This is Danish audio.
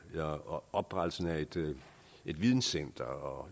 og oprettelse af et videncenter og